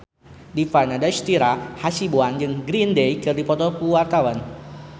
Dipa Nandastyra Hasibuan jeung Green Day keur dipoto ku wartawan